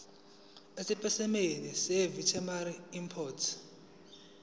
esipesimeni seveterinary import